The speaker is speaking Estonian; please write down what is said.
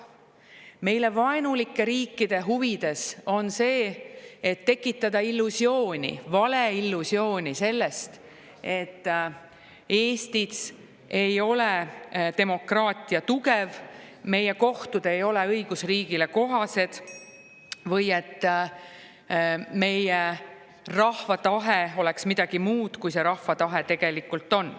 Meile vaenulike riikide huvides on tekitada illusiooni sellest, et Eestis ei ole demokraatia tugev, meie kohtud ei ole õigusriigile kohased või et meie rahva tahe on midagi muud, kui see tegelikult on.